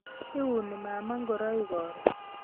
Iuni mama ngoroik karon